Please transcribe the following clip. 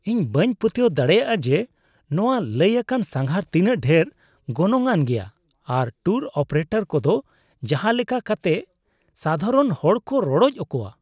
ᱤᱧ ᱵᱟᱹᱧ ᱯᱟᱹᱛᱭᱟᱹᱣ ᱫᱟᱲᱮᱭᱟᱜᱼᱟ ᱡᱮ ᱱᱚᱶᱟ ᱞᱟᱹᱭ ᱟᱠᱟᱱ ᱥᱟᱸᱜᱷᱟᱨ ᱛᱤᱱᱟᱹᱜ ᱰᱷᱮᱨ ᱜᱚᱱᱚᱝᱼᱟᱱ ᱜᱮᱭᱟ ᱟᱨ ᱴᱩᱨ ᱚᱯᱟᱨᱮᱴᱚᱨ ᱠᱚᱫᱚ ᱡᱟᱦᱟ ᱞᱮᱠᱟ ᱠᱟᱛᱮᱜᱥᱟᱫᱷᱟᱨᱚᱱ ᱦᱚᱲᱠᱚ ᱨᱚᱰᱚᱪ ᱠᱚᱣᱟ ᱾